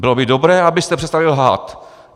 Bylo by dobré, abyste přestali lhát.